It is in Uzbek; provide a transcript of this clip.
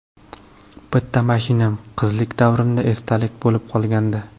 Bitta mashinam qizlik davrimdan esdalik bo‘lib qolgandi.